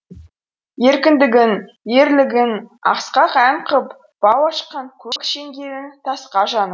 еркіндігін ерлігін асқақ ән қып бау ашқан көк шеңгелін тасқа жанып